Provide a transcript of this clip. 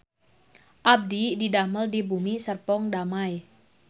Abdi didamel di Bumi Serpong Damai